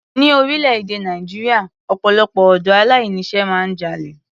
Ní orílẹ̀-èdè Nàìjíríà, ọpọ̀lọpọ̀ ọ̀dọ́ aláìní iṣẹ́ máa ń jalè.